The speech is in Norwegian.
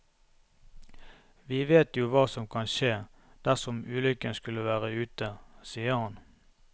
Vi vet jo hva som kan skje dersom ulykken skulle være ute, sier han.